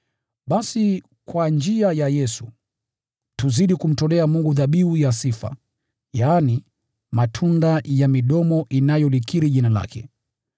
Basi kwa njia ya Yesu, tuzidi kumtolea Mungu dhabihu ya sifa, yaani matunda ya midomo inayolikiri Jina lake.